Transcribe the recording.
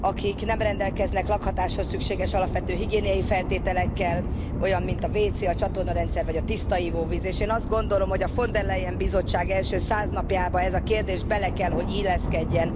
akik nem rendelkeznek lakhatáshoz szükséges alapvető higiéniai feltételekkel, olyan, mint a vécé, a csatornarendszer, vagy a tiszta ivóvíz, és én azt gondolom, hogy a Von der Leyen Bizottság első száz napjába ez a kérdés bele kell, hogy illeszkedjen.